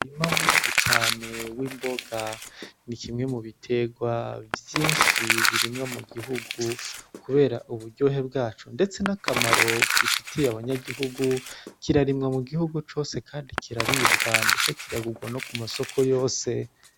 Umurima munini cane w'imboga, ni kimwe mu biterwa vyinshi birimwa mu gihugu kubera uburyohe bwaco ndetse n'akamaro bifitiye abanyagihugu kirarimwa mu gihugu cose kandi kiraribwa ndetse kiragurwa no ku masoko yose.